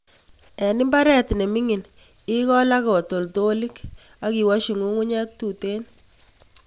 En mbaret nemingin igol ak katoltolik and iwosyi ngiung'unyek tuten.